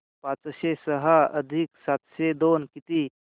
पाचशे सहा अधिक सातशे दोन किती